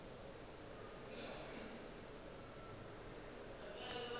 ya ka e be e